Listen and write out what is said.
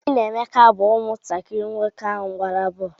Obi na Emeka bụ ụmụntakiri nwoke ahụ gbara boolu.